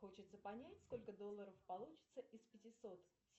хочется понять сколько долларов получится из пятисот